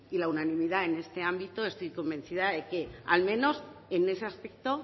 la unanimidad en este ámbito estoy convencida de que al menos en ese aspecto